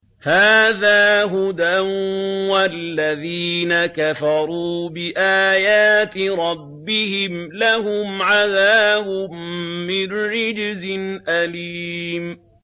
هَٰذَا هُدًى ۖ وَالَّذِينَ كَفَرُوا بِآيَاتِ رَبِّهِمْ لَهُمْ عَذَابٌ مِّن رِّجْزٍ أَلِيمٌ